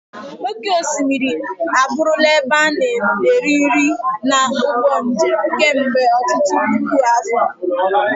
Oké osimiri abụrụla ebe a na-eri nri na ụgbọ njem kemgbe ọtụtụ puku afọ.